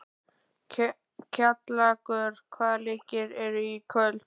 Kjallakur, hvaða leikir eru í kvöld?